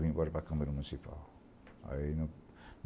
Vim embora para a Câmara Municipal. Aí